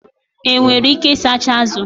Enwere ike ịsacha azụ